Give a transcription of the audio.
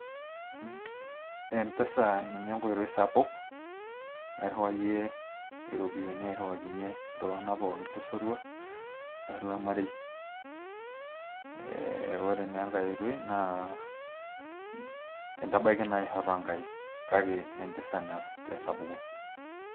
MPesa ninye enkoitoi sapuk, nairiwariyie iropiyiani airiwakinye iltun'ganak pooki le sotua olol marei. eeh ore naa enkae oitoi naa intabaiki naa aisho too nkaik, kake naa MPesa naa te sapuko.